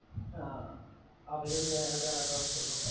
ആഹ് ആഹ് അവര് പിന്നെ ആഹ് അവൻ്റെ ആര്ടോ കുടുംബക്കാർ